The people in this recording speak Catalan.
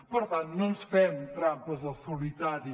per tant no ens fem trampes al solitari